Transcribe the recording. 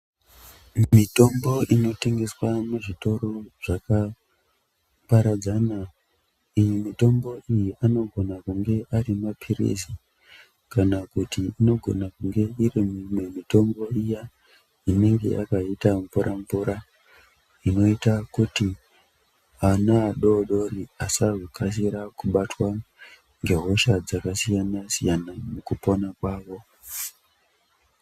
Mitombo inotengeswa muzvitoro zvakaparadzana iyi mitombo iyi anogona kunge ari mapilizi kana kuti inogona kunge iri imwe mitombo iya inenge yakaita mvura -mvura inoita kuti ana adodori asazokasira kubatwa ngehosha dzakasiyanasiyana mukupona kwawo.